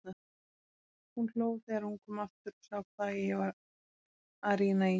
Hún hló þegar hún kom aftur og sá hvað ég var að rýna í.